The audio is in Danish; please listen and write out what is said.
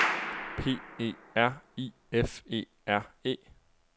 P E R I F E R E